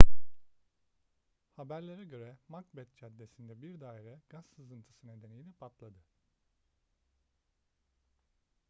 haberlere göre macbeth caddesi'ndeki bir daire gaz sızıntısı nedeniyle patladı